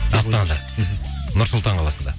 астанада мхм нұр сұлтан қаласында